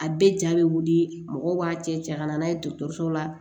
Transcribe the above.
A bɛɛ ja bɛ wuli mɔgɔw b'a cɛ cɛ ka na n'a ye dɔgɔtɔrɔso la